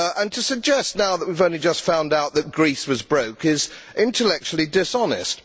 To suggest now that we have only just found out that Greece was broke is intellectually dishonest.